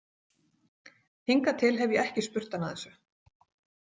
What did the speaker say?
Hingað til hef ég ekki spurt hana að þessu.